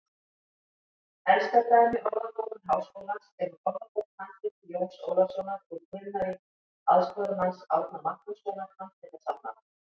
Elsta dæmi Orðabókar Háskólans er úr orðabókarhandriti Jóns Ólafssonar úr Grunnavík, aðstoðarmanns Árna Magnússonar handritasafnara.